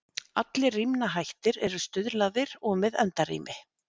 Allir rímnahættir eru stuðlaðir og með endarími.